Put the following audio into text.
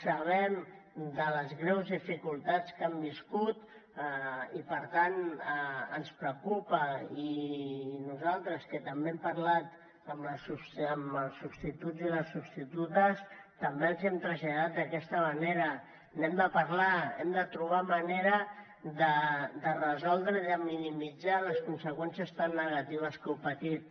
sabem de les greus dificultats que han viscut i per tant ens preocupa i nosaltres que també hem parlat amb els substituts i les substitutes també els ho hem traslladat d’aquesta manera n’hem de parlar hem de trobar manera de resoldre i de minimitzar les conseqüències tan negatives que heu patit